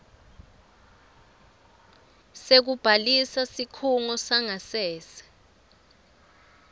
sekubhalisa sikhungo sangasese